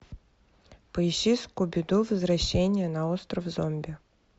поищи скуби ду возвращение на остров зомби